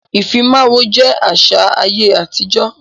Ifímáwó jẹ àṣà ayé àtijọ́.